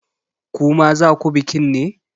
Ku ma za ku bikin ne?